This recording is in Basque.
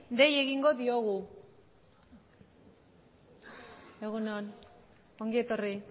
dei egingo diogu egun on ongi etorri